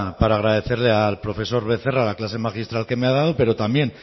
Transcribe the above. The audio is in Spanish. para agradecerle al profesor becerra la clase magistral que me ha dado pero también